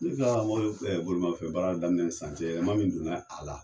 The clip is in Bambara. Ne ka mɔbili bolimafɛ baara daminɛ ni sisan cɛ yɛlɛma min don na a la.